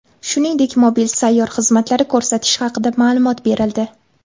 Shuningdek, mobil sayyor xizmatlari ko‘rsatish haqida ma’lumot berildi.